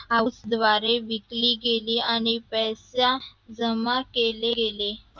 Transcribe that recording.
house द्वारे विकली गेली आणि पैसा जमा केले गेले